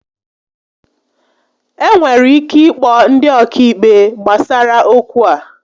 E nwere ike ịkpọ ndị ọkaikpe gbasara okwu a